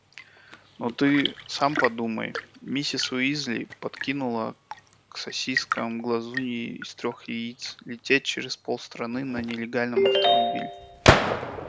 но ты сам подумай миссис уизли подкинула к сосискам глазу из трёх яиц лететь через пол страны на нелегальном автомобиле